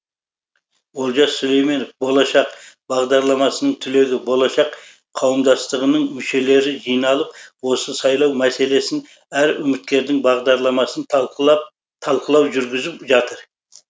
олжас сүлейменов болашақ бағдарламасының түлегі болашақ қауымдастығының мүшелері жиналып осы сайлау мәселесін әр үміткердің бағдарламасын талқылау жүргізіп жатыр